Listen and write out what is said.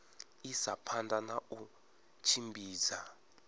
isa phanda na u tshimbidza